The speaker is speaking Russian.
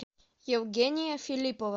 евгения филиппова